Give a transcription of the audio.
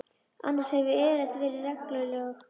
Annars hef ég yfirleitt verið regluleg.